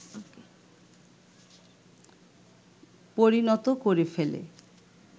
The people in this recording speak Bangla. পরিণত করে ফেলে